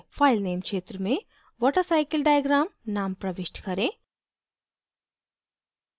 filename क्षेत्र में watercyclediagram name प्रविष्ट करें